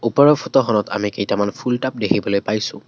ওপৰৰ ফটো খনত আমি কেইটামান ফুল টাব দেখিবলৈ পাইছোঁ।